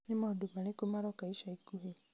nĩ maũndũ marĩkũ maroka ica ikuhĩ